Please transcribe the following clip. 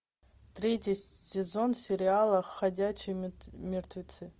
третий сезон сериала ходячие мертвецы